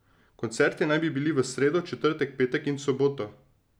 Koncerti naj bi bili v sredo, četrtek, petek in soboto.